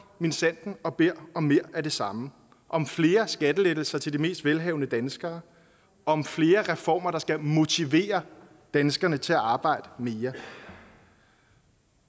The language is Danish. minsandten og beder om mere af det samme om flere skattelettelser til de mest velhavende danskere om flere reformer der skal motivere danskerne til at arbejde mere